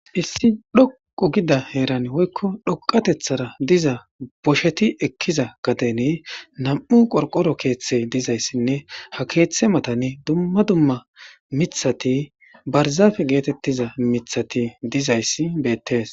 issi dhoqu gida heeran woykko dhoqatethara diza bosheti ekkiza gadeni nam7u qorqoro keeththe dizayssinne ha keeththe matani dumma dumma mithati barzafe geetettiza mithati dizayssi beettees